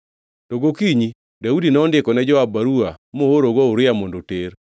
To gokinyi Daudi nondiko ne Joab baruwa moorogo Uria mondo oter.